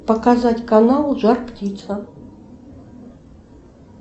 показать канал жарптица